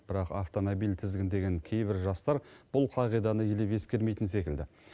бірақ автомобиль тізгіндеген кейбір жастар бұл қағиданы елеп ескермейтін секілді